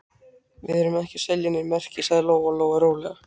Við erum ekki að selja nein merki, sagði Lóa-Lóa rólega.